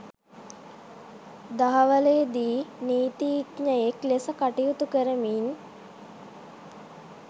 දහවලේදී නීතීඥයෙක් ලෙස කටයුතු කරමින්